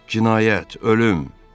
Cinayət, ölüm!